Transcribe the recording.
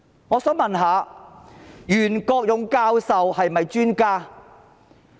我想問，袁國勇教授是不是專家？